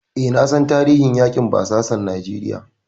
E, na san tarihin yaƙin basasan Najeriya.